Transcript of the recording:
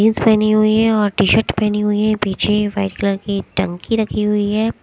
जिंस पहनी हुई है और टी शर्ट पहनी हुई है पीछे व्हाइट कलर की टंकी रखी हुई है।